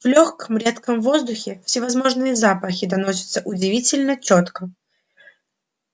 в лёгком редком воздухе всевозможные запахи доносятся удивительно чётко